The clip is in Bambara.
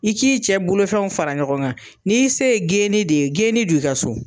I k'i cɛ bolofɛnw fara ɲɔgɔn kan, n'i se geeni de ye geeni don i ka so.